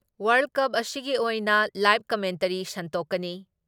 World Cup ꯑꯁꯤꯒꯤ ꯑꯣꯏꯅ live commentary ꯁꯟꯗꯣꯛꯀꯅꯤ ꯫